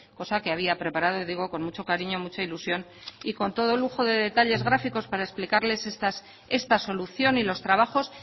cosa que había preparado y digo con mucho cariño mucha ilusión y con todo lujo de detalles gráficos para explicarles esta solución y los trabajos